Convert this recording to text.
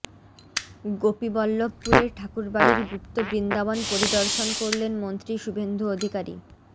গোপীবল্লভপুরের ঠাকুরবাড়ির গুপ্ত বৃন্দাবন পরিদর্শন করলেন মন্ত্রী শুভেন্দু অধিকারী